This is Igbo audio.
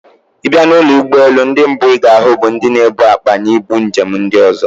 Ì bịa n'ụlọ ụgbọelu, ndị mbụ ị ga-ahụ bụ ndị na-ebu akpa na ibu njem ndị ozo